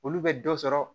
Olu bɛ dɔ sɔrɔ